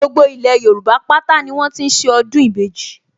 Gbogbo ilẹ̀ Yorùbá pátá ni wọ́n ti ń ṣe ọdún ìbejì